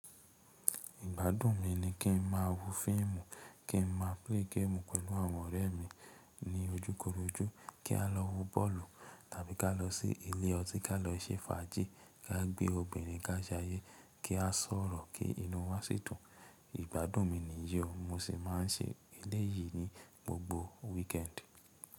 Ìgbádùn mi ni kí n má wó fíìmù, kí n má play game pẹ̀lú àwọn ọ̀rẹ́ mi ní ojúkorojú, kí a lọ wó bọ́ọ̀lù tàbí ká lọ sí ilé ọtí ká lọ ṣe fàájì, ká gbé obìnrin ká jayé, kí a sọ̀rọ̀, kí inú wa sì dùn. Ìgbádùn mi nìyi, mo sì máa n ṣe eléyìí ní gbogbo weekend.